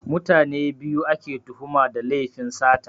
Mutane biyu ake tuhuma da lefin sata